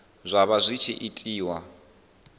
zwa vha zwi tshi itiwa